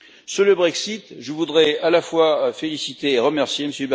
Sur le Brexit, je voudrais à la fois féliciter et remercier M.